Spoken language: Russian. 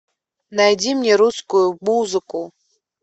найди мне русскую музыку